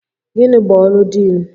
Gịnị bụ ọrụ Diin?